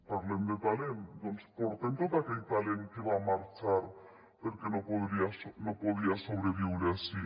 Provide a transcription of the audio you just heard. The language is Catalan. parlem de talent doncs portem tot aquell talent que va marxar perquè no podia sobreviure ací